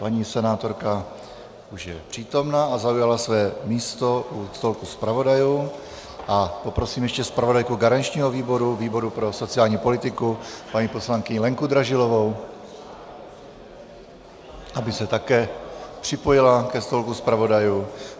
Paní senátorka už je přítomna a zaujala svoje místo u stolku zpravodajů a poprosím ještě zpravodajku garančního výboru, výboru pro sociální politiku, paní poslankyni Lenku Dražilovou, aby se také připojila ke stolku zpravodajů.